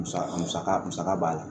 Musaka musaka musaka b'a la